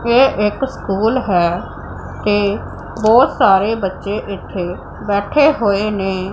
ਇਹ ਇੱਕ ਸਕੂਲ ਹੈ ਤੇ ਬਹੁਤ ਸਾਰੇ ਬੱਚੇ ਇੱਥੇ ਬੈਠੇ ਹੋਏ ਨੇ।